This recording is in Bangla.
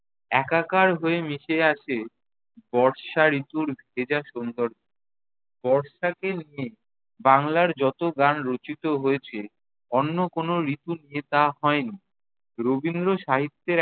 একাকার হয়ে মিশে আছে বর্ষা ঋতুর ভেজা সৌন্দর্য। বর্ষাকে নিয়ে বাংলার যত গান রচিত হয়েছে অন্য কোনো ঋতু নিয়ে তা হয়নি। রবীন্দ্র সাহিত্যের